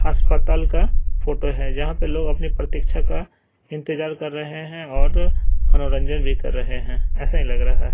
हस्पताल का फोटो है जहां पे लोग अपने प्रतीक्षा का इंतजार कर रहे हैं और मनोरंजन भी कर रहे हैं ऐसा ही लग रहा है।